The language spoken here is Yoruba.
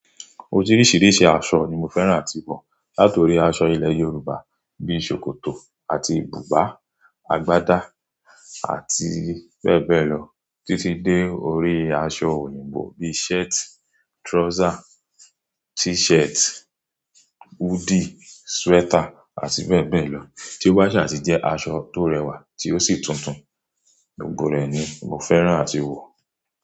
Oríṣiríṣi aṣọ ni mo fẹ́ràn àti wọ̀. Láti orí aṣọ ilẹ̀ Yorùbá bí i ṣòkòtò àti bùbá, àgbádá àti bẹ́ẹ̀ bẹ́ẹ̀ lọ títí dé orí aṣọ òyìnbó bí i shirt, trouser, t-shirt, hoodie, sweater àti bẹ́ẹ̀ bẹ́ẹ̀ lọ. Ti báṣẹ̀ àti jẹ́ aṣọ tó rẹwà tí ó sì túntùn gbogbo rẹ̀ ni mo fẹ́ràn àti wọ̀